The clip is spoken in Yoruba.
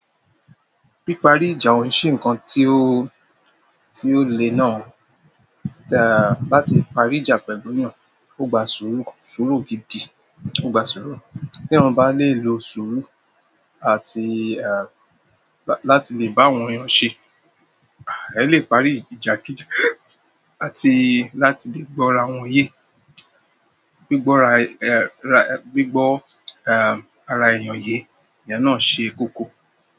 Pípari ìjà o n ṣé nǹkan tí ó, tí ó lè náà, e- láti parí ìjà pẹ̀lú èeyàn, ó gba sùúrù, sùúrù gidi, ó gba sùúrù. Tí eeyan bá lè lo sùúrù àti, àti láti lè bá àwọn èeyàn ṣé, àì le parí ìjà kí íjà, àti láti lè gbọ́ ra wọn ye, gbígbọ́ ara, gbígbọ́, ẹ, ara èèyàn ye, iyen náà ṣe koko.